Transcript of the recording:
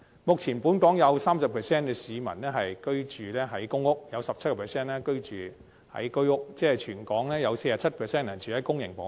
目前，本港有 30% 市民居住在公屋 ，17% 居住在居屋，即全港共有 47% 人居住在公營房屋。